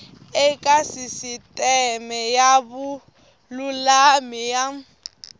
eka sisiteme ya vululami ya